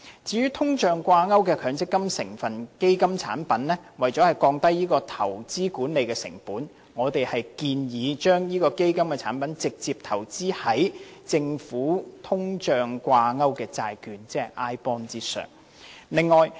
至於與通脹掛鈎的強積金成分基金產品，為了降低投資管理成本，我們建議將這類基金產品直接投資於政府的通脹掛鈎債券，即 iBond。